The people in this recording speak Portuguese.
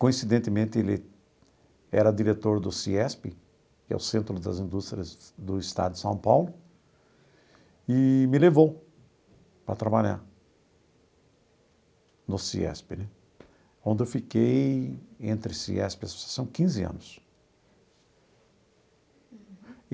Coincidentemente, ele era diretor do CIESP, que é o Centro das Indústrias do Estado de São Paulo, e me levou para trabalhar no CIESP né, onde eu fiquei entre CIESP e a Associação quinze anos.